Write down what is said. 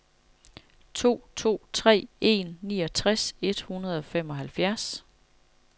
to to tre en niogtres et hundrede og femoghalvfjerds